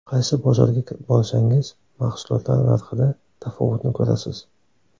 Qaysi bozorga borsangiz, mahsulotlar narxida tafovutni ko‘rasiz.